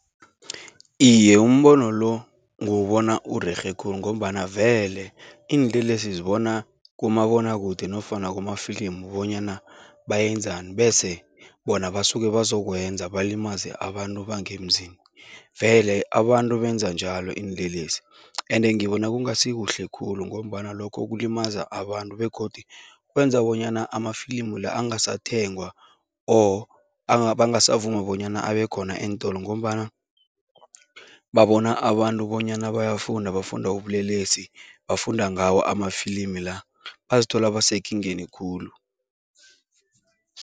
Iye, umbono lo nguwubona urerhe khulu ngombana vele iinlelesi zibona kumabonwakude nofana kumafilimu bonyana bayenzani bese bona basuke bazokwenza, balimaze abantu bangemzini vele abantu benza njalo iinlelesi ende ngibona kungasikuhle khulu ngombana lokho kulimaza abantu begodu kwenza bonyana amafilimu la angasathengwa or bangasavuma bonyana abekhona eentolo ngombana babona abantu bonyana bayafunda, bafunda ubulelesi, bafunda ngawo amafilimi la, bazithola basekingeni khulu.